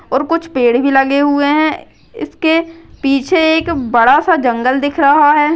और कुछ पेड़ भी लगे हुए हैं इसके पीछे एक बड़ा सा जंगल दिख रहा है।